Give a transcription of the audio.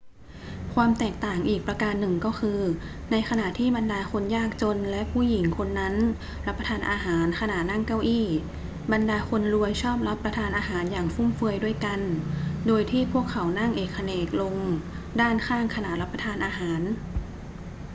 ความแตกต่างอีกประการหนึ่งก็คือ ในขณะที่บรรดาคนยากจนและผู้หญิงคนนั้นรับประทานอาหารขณะนั่งเก้าอี้ บรรดาคนรวยชอบรับประทานอาหารอย่างฟุ่มเฟือยด้วยกัน โดยที่พวกเขานั่งเอกเขนกเอนลงด้านข้างขณะรับประทานอาหาร